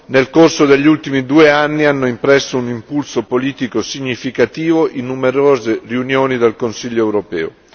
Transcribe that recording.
Nel corso degli ultimi due anni hanno impresso un impulso politico significativo in numerose riunioni del Consiglio europeo.